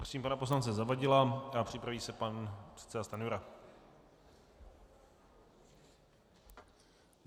Prosím pana poslance Zavadila a připraví se pan předseda Stanjura.